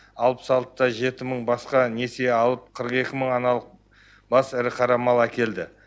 алпыс алты да жеті мың басқа несие алып қырық екі мың аналық бас ірі қара мал әкелді